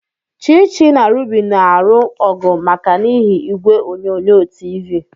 Chichi na Ruby na-alụ ọgụ maka n'ihi igwe onyonyo TV.